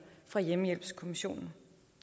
fra hjemmehjælpskommissionen